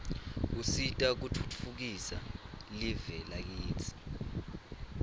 usita kutfutfukisa live lakitsi